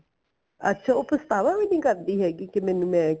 ਅੱਛਾ ਉਹ ਪਛਤਾਵਾ ਵੀ ਨਹੀਂ ਕਰਦੀ ਹੈਗੀ ਕੀ ਮੈਨੂੰ ਮੈਂ